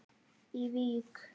í Vík.